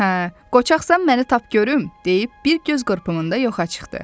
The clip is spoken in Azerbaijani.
Hə, qoçaqsan məni tap görüm deyib bir göz qırpımında yoxa çıxdı.